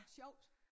Sjovt